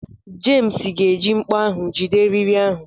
Jems ga-eji mkpọ ahụ jide eriri ahụ.